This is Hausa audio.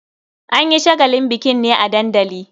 An yi shagalin bikin ne a dandali.